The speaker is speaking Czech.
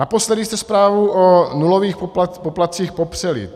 Naposledy jste zprávu o nulových poplatcích popřeli.